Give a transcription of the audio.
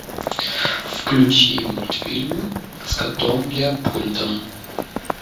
включи мультфильмы с котом леопольдом